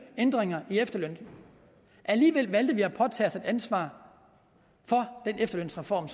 ændringer i efterlønnen alligevel valgte vi at påtage os et ansvar for den efterlønsreform